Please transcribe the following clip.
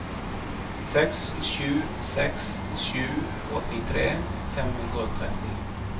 seks sju seks sju åttitre fem hundre og tretti